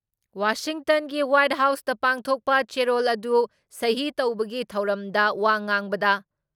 ꯋꯥꯁꯤꯡꯇꯟꯒꯤ white ꯍꯥꯎꯁꯇ ꯄꯥꯡꯊꯣꯛꯄ ꯆꯦꯔꯣꯜ ꯑꯗꯨ ꯁꯍꯤ ꯇꯧꯕꯒꯤ ꯊꯧꯔꯝꯗ ꯋꯥ ꯉꯥꯡꯕꯗ